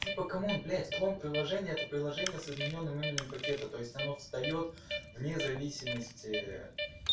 типа камон блядь клон приложений это приложение с изменённым именем пакета то есть оно встаёт в независимости